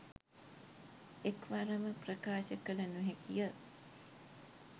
එක්වරම ප්‍රකාශ කළ නොහැකිය.